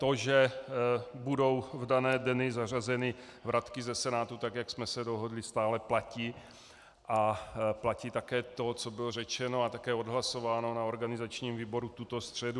To, že budou v dané dny zařazeny vratky ze Senátu, tak jak jsme se dohodli, stále platí a platí také to, co bylo řečeno a také odhlasováno na organizačním výboru tuto středu.